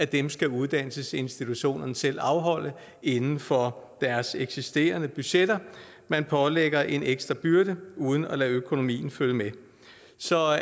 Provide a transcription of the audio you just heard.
dem skal uddannelsesinstitutionerne selv afholde inden for deres eksisterende budgetter man pålægger en ekstra byrde uden at lade økonomien følge med så